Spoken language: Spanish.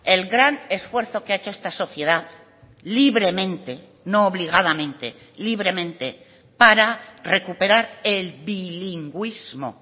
el gran esfuerzo que ha hecho esta sociedad libremente no obligadamente libremente para recuperar el bilingüismo